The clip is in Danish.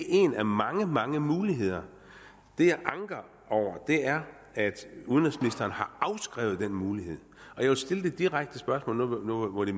en af mange mange muligheder det jeg anker over er at udenrigsministeren har afskrevet den mulighed jeg vil stille det direkte spørgsmål nu hvor det